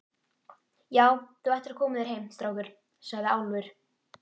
Já, þú ættir að koma þér heim, strákur, sagði Álfur.